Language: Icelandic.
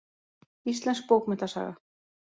Íslensk bókmenntasaga.